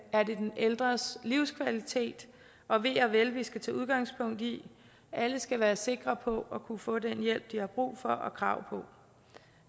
ældres livskvalitet og ve og vel vi skal tage udgangspunkt i alle skal være sikre på at kunne få den hjælp de har brug for og krav på